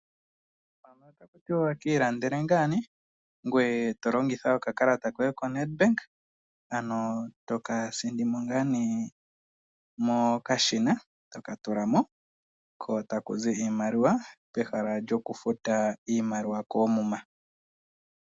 Otaku tiwa ki ilandele to longitha okakalata koye koNedbank, ano to ka tula mokashina ko taku zi iimaliwa pehala lyokufuta iimaliwa koomuma.